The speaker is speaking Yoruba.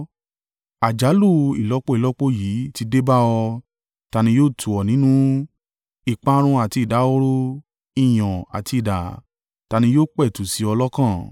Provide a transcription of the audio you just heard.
Àjálù ìlọ́po ìlọ́po yìí ti dé bá ọ— ta ni yóò tù ọ́ nínú? Ìparun àti ìdahoro, ìyàn àti idà ta ni yó pẹ̀tù sí ọ lọ́kàn?